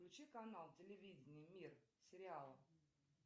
включи канал телевидения мир сериал